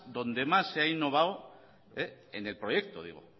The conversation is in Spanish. donde más se ha innovado en el proyecto digo